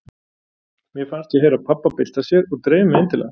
Mér fannst ég heyra pabba bylta sér og dreif mig inn til hans.